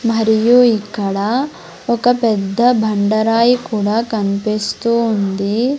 మరియు ఇక్కడ ఒక పెద్ద బండరాయి కూడా కన్పిస్తూ ఉంది.